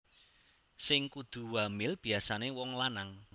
Sing kudu wamil biasané wong lanang